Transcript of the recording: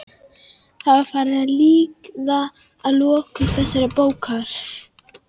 Þá er farið að líða að lokum þessarar bókar.